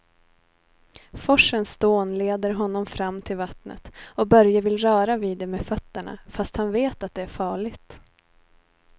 Forsens dån leder honom fram till vattnet och Börje vill röra vid det med fötterna, fast han vet att det är farligt.